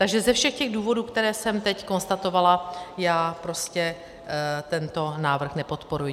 Takže ze všech těch důvodů, které jsem teď konstatovala, já prostě tento návrh nepodporuji.